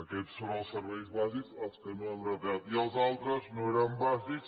aquests són els serveis bàsics els que no hem retallat i els altres no eren bàsics